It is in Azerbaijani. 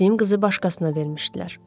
Sevdim qızı başqasına vermişdilər.